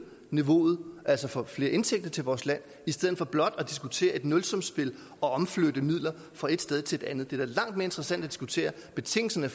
niveauet altså får flere indtægter til vores land i stedet for blot at diskutere et nulsumsspil og flytte midler fra et sted til et andet det er da langt mere interessant at diskutere betingelserne